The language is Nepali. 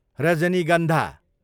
रजनीगन्धा